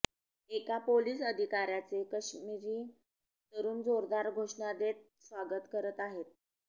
एका पोलीस अधिकाऱ्याचे काश्मिरी तरूण जोरदार घोषणादेत स्वागत करत आहेत